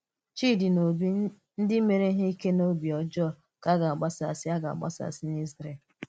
Chídì na Ọ́bì, ndí méèrè íhè ìké n’òbì ọ́jọọ, kà a gā-agbàsàsị̀ a gā-agbàsàsị̀ n’Ízrèl.